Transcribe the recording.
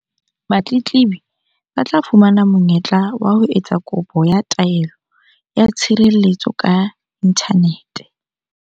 Batletlebi ba tla fumana monye-tla wa ho etsa kopo ya taelo ya tshirelletso ka inthanete.